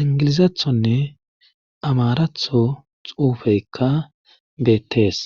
ingilizathonne amaratho xuufeykka beettees